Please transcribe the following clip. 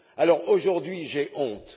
Alors, aujourd'hui j'ai honte!